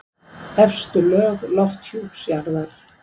Efstu lög lofthjúps jarðar.